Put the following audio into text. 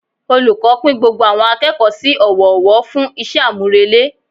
Olùkọ́ pín gbogbo àwọn akẹ́kọ̀ọ́ sí ọwọ́ ọwọ́ fún iṣẹ́ àmúrelé